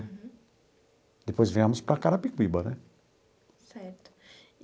Depois viemos para Carapicuíba, né? Certo.